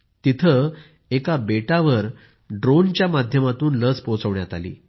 तिथं एका बेटावर ड्रोनच्या माध्यमातून लस पोहोचविण्यात आली